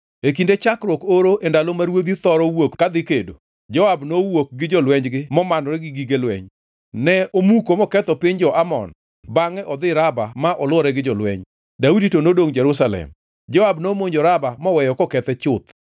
E kinde chakruok oro, e ndalo ma ruodhi thoro wuok kadhi kedo, Joab nowuok gi jolwenjgo momanore gi gige lweny. Ne omuko moketho piny jo-Amon bangʼe odhi Raba ma olwore gi jolweny, Daudi to nodongʼ Jerusalem. Joab nomonjo Raba moweyo kokethe chuth.